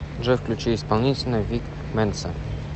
джой включи исполнителя вик менса